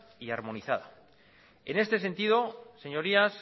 y armonizada en este sentido señorías